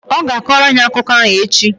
Ọ ga-akọrọ anyị akụkọ ahụ echi